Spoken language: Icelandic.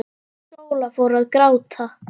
Sóla fór að gráta.